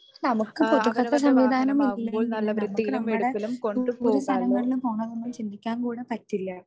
നമുക്ക് പൊതുഗത സംവിധാനം ഇല്ലെങ്കിലും നമുക്ക് നമ്മടെ പോകാൻ ചിന്തിക്കാൻ കൂടി പറ്റില്ല.